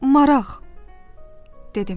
Maraq, dedim.